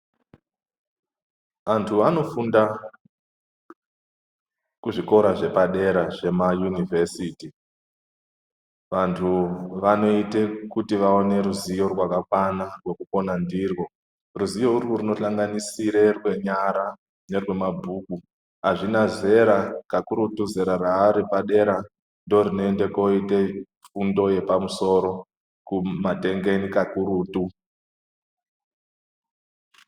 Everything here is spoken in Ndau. Antu anofunda kuzvikora zvepadera zvema univhesiti, vantu vanoite kuti vaone ruzivo rwakakwana rwekupona ndirwoo. Ruzivo urwu rwunohlanganisire rwenyara nerwemabhuku. Azvina zera kakurutu zera raripadera ndorinoende koite fundo yepamusoro kumatengeni kakurutu.